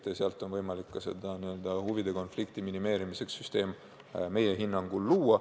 Nende puhul on meie hinnangul võimalik huvide konflikti minimeerimiseks süsteem luua.